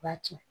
B'a ci